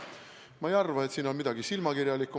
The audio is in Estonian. Ma ei arva, et siin on midagi silmakirjalikku.